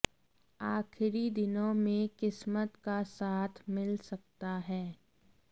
आखिरी दिनों में किस्मत का साथ मिल सकता है